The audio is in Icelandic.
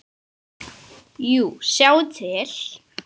Jú, sjáið til.